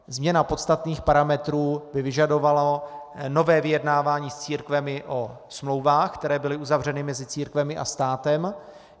Změna podstatných parametrů by vyžadovala nové vyjednávání s církvemi o smlouvách, které byly uzavřeny mezi církvemi a státem.